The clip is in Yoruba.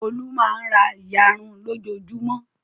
Olú máa ń ra ìyarun lójoojúmọ́.